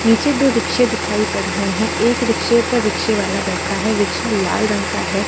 नीचे दो रिक्शे दिखाई पड़ रहे हैं। एक रिक्शे पर रिक्शा वाला बैठा है। रिक्शा लला रंग का है।